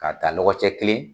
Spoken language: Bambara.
K'a taa lɔgɔcɛ kelen